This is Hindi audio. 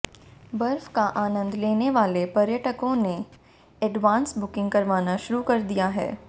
बर्फ का आनंद लेने वाले पर्यटकों ने एडवांस बुकिंग करवाना शुरू कर दिया है